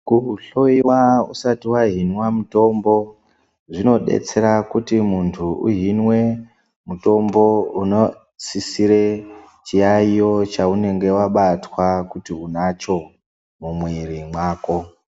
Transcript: Kuhloiwa usati wahinwa mutombo, zvinodetsera kuti muntu uhinwe mutombo unosisire chiyaiyo chaunenge wabatwa, kuti unacho, mumwiiri mwako.